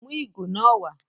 Mú ìgò náà wàá